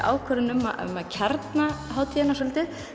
ákvörðun um að kjarna hátíðina svolítið